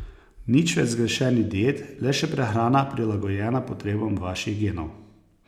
Nič več zgrešenih diet, le še prehrana, prilagojena potrebam vaših genov.